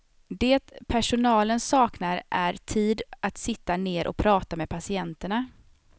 Det personalen saknar är tid att sitta ner och prata med patienterna.